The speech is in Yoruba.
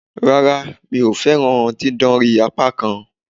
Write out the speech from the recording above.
Rárá, mi o fẹ́ràn dídánrí apákan